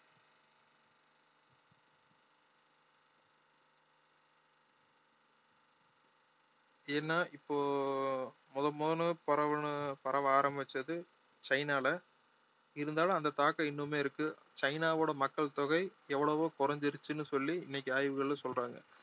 ஏன்னா இப்போ முத முதன்னு பரவணும் பரவ ஆரம்பிச்சது சைனால இருந்தாலும் அந்த தாக்கம் இன்னுமே இருக்கு சைனாவோட மக்கள் தொகை எவ்வளவோ குறைஞ்சிடுச்சுன்னு சொல்லி இன்னைக்கு ஆய்வுகள்ல சொல்றாங்க